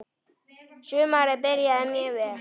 Sumarið byrjaði mjög vel.